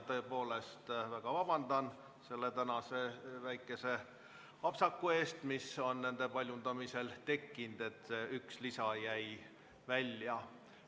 Tõepoolest palun vabandust selle tänase väikese apsaka pärast, mis on paljundamisel tekkinud, nii et üks lisa jäi välja.